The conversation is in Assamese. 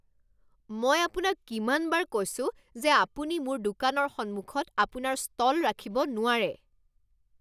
মই আপোনাক কিমানবাৰ কৈছো যে আপুনি মোৰ দোকানৰ সন্মুখত আপোনাৰ ষ্টল ৰাখিব নোৱাৰে?